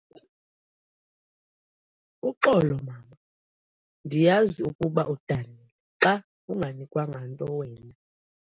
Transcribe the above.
Uxolo mama, ndiyazi ukuba udanile xa unganikwanga nto wena.